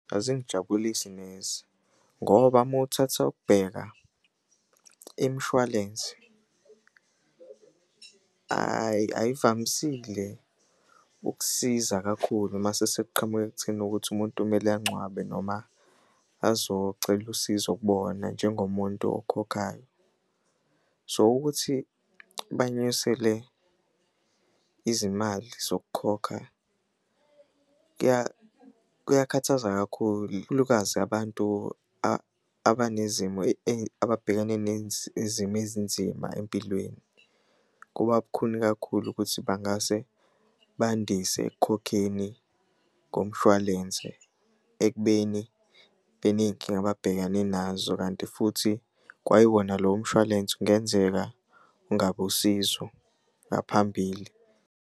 Azingijabulisi neze ngoba uma uthatha ukubheka imishwalense, hhayi ayivamisile ukusiza kakhulu mase sekuqhamuka ekutheni ukuthi umuntu kumele angcwabe noma azocela usizo kubona njengomuntu okhokhayo. So, ukuthi banyusele izimali zokukhokha kuyakhathaza kakhulukazi abantu abanezimo ababhekane nezimo ezinzima empilweni. Kuba bukhuni kakhulu ukuthi bangase bandise ekukhokheni komshwalense ekubeni beney'nkinga ababhekane nazo, kanti futhi kwayiwona lowo mshwalense kungenzeka ungabi usizo ngaphambili.